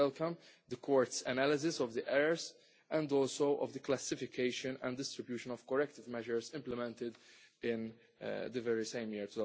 We also welcome the Court's analysis of the errors and of the classification and distribution of corrective measures implemented in the very same year,